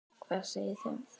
Hvað segið þið um það?